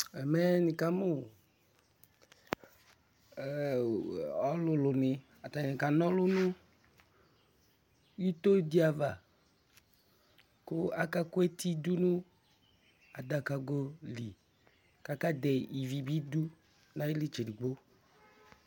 Ɛmɛ ŋɩ ƙzmʊ ɔlʊlʊ ŋɩ atanɩ ƙa ŋɔlʊ ŋʊbɩto dɩ aʋa ƙʊ akaƙʊ etɩ dʊ ŋʊ adakagolɩ kakɛdɛ ɩʋɩ ɓɩ dʊ ŋaƴulɩ tsedigbo